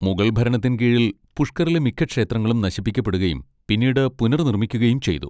മുഗൾ ഭരണത്തിൻ കീഴിൽ പുഷ്കറിലെ മിക്ക ക്ഷേത്രങ്ങളും നശിപ്പിക്കപ്പെടുകയും പിന്നീട് പുനർനിർമ്മിക്കുകയും ചെയ്തു.